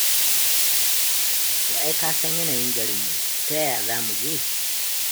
To ai ka san yanayin garin ne ta yaya za mu je?